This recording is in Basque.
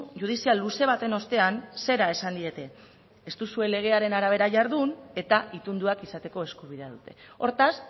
judizial luze baten ostean zera esan diete ez duzue legearen arabera jardun eta itunduak izateko eskubidea dute hortaz